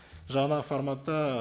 жаңа форматта